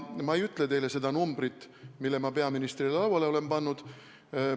Ma ei ütle teile seda numbrit, mille ma peaministrile lauale olen pannud.